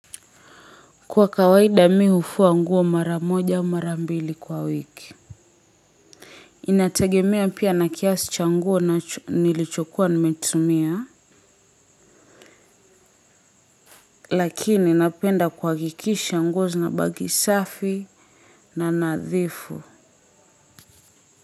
Kwa kawaida mi hufua nguo mara moja mara mbili kwa wiki. Inategemea pia na kiasi cha nguo nilichokua nimetumia. Lakini napenda kuhakikisha nguo zinabaki safi na nadhifu.